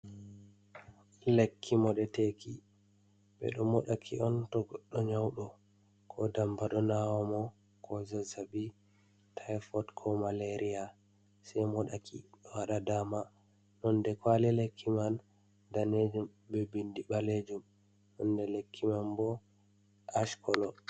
Lekki moɗeteki: Ɓeɗo moɗa ki on to goɗɗo nyauɗo ko damba ɗo nawa mo, ko zazabi taifot, ko malaria sei moɗaki owaɗa dama. Nonde kwali lekki man danejum be bindi ɓalejum, nonde lekki man bo ash kolo.